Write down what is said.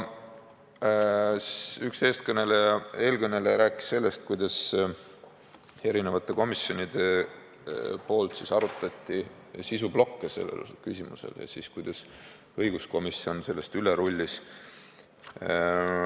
Üks eelkõneleja rääkis sellest, kuidas erinevad komisjonid arutasid selle eelnõu erinevaid sisuplokke ja kuidas õiguskomisjon neist üle rullis.